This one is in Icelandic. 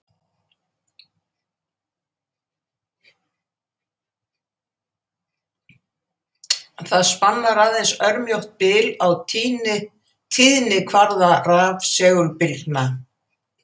Það spannar aðeins örmjótt bil á tíðnikvarða rafsegulbylgna.